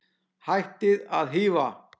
Hættið að hífa!